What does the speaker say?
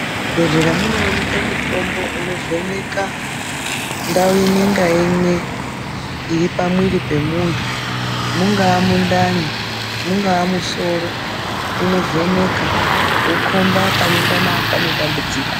Muzvibhehleya munoonekwe mutombo unovheneka ndau imwe ngaimwe iripamuiri pemuntu. Mungava mundani ,ungava musoro ,unovheneka wokomba panengana pane dambudziko.